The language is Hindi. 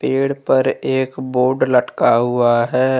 पेड़ पर एक बोर्ड लटका हुआ है।